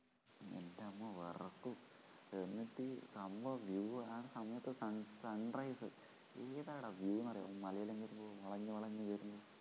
എന്റമ്മോ വിറയ്ക്കും എന്നിട്ട് സംഭവം view ആ സമയത്തു sun sunrise എന്താടാ view എന്നറിയാമോ മലയിലങ്ങോട്ടു പോവുമ്പോ വളഞ്ഞു വളഞ്ഞ് വരുന്നേ